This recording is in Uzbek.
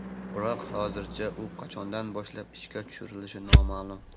Biroq hozircha u qachondan boshlab ishga tushirilishi noma’lum.